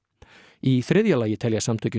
í þriðja lagi telja samtökin